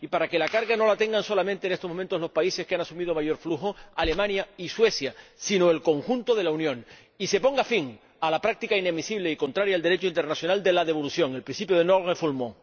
para que la carga no la tengan solamente, en estos momentos, los países que han asumido mayor flujo ―Alemania y Suecia―, sino el conjunto de la Unión, y se ponga fin a la práctica inadmisible y contraria al Derecho internacional de la devolución, el principio de non refoulement